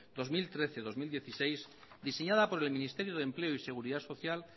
dos mil trece dos mil dieciséis diseñada por el ministerio de empleo y seguridad social